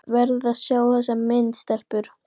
Þið verðið að sjá þessa mynd, stelpur!